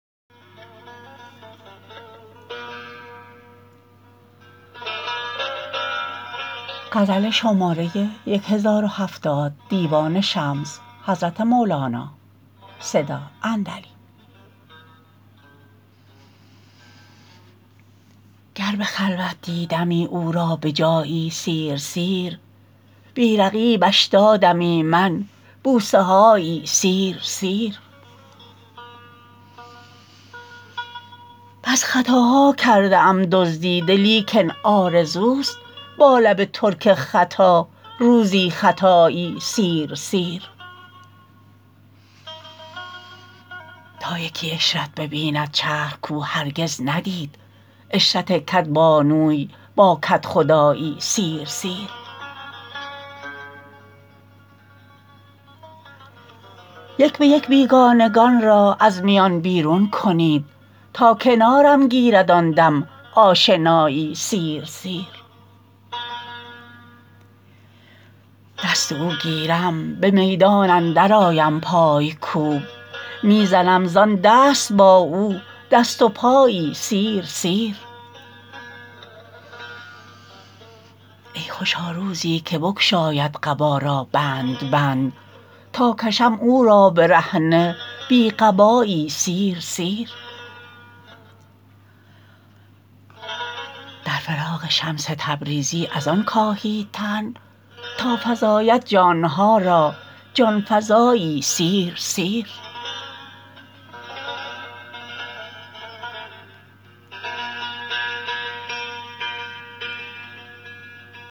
گر به خلوت دیدمی او را به جایی سیر سیر بی رقیبش دادمی من بوسه هایی سیر سیر بس خطاها کرده ام دزدیده لیکن آرزوست با لب ترک خطا روزی خطایی سیر سیر تا یکی عشرت ببیند چرخ کاو هرگز ندید عشرت کدبانوی با کدخدایی سیر سیر یک به یک بیگانگان را از میان بیرون کنید تا کنارم گیرد آن دم آشنایی سیر سیر دست او گیرم به میدان اندرآیم پای کوب می زنم زان دست با او دست و پایی سیر سیر ای خوشا روزی که بگشاید قبا را بند بند تا کشم او را برهنه بی قبایی سیر سیر در فراق شمس تبریزی از آن کاهید تن تا فزاید جان ها را جان فزایی سیر سیر